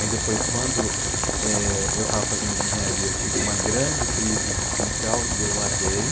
Aí depois, quando eu estava fazendo de engenharia, eu tive uma grande crise existencial e eu larguei.